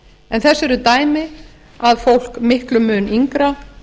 en þess eru dæmi að fólk miklum mun yngra